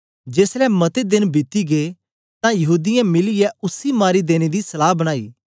जेसलै मते देन बीती गै तां यहूदीयें मिलीयै उसी मारी देने दी सलाह बनाई